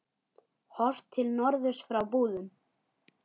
Horft til norðurs frá Búðum.